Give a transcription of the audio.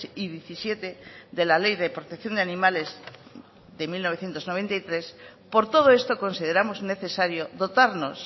y diecisiete de la ley de protección de animales de mil novecientos noventa y tres por todo esto consideramos necesario dotarnos